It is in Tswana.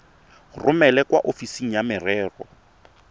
romele kwa ofising ya merero